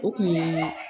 O kun ye